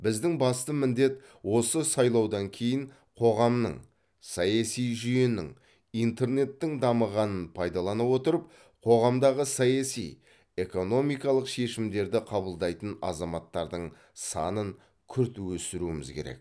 біздің басты міндет осы сайлаудан кейін қоғамның саяси жүйенің интернеттің дамығанын пайдалана отырып қоғамдағы саяси экономикалық шешімдерді қабылдайтын азаматтардың санын күрт өсіруіміз керек